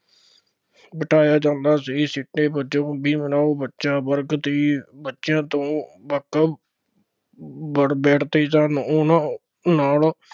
ਬਿਠਾਇਆ ਜਾਂਦਾ ਸੀ, ਸਿੱਟੇ ਵਜੋਂ ਭੀਮ ਰਾਓ ਬੱਚਾ ਵਰਗ ਦੇ ਬੱਚਿਆਂ ਤੋਂ ਵੱਖ ਬੈਠਦੇ ਸਨ, ਉਹਨਾ ਨਾਲ